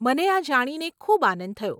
મને આ જાણીને ખૂબ આનંદ થયો.